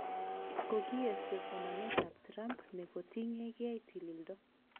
Kokiesio somet ab Trump nekotingen ge tililindo